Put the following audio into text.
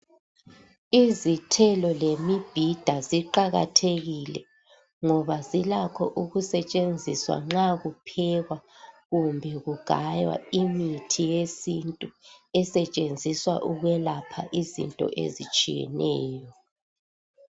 Izithelo lemibhida ziqakathekile ngoba zilakho ukusetshenziswa nxa kuphekwa kumbe kugaywa imithi yesintu esetshenziswa ukwelapha izinto ezitshiyeneyo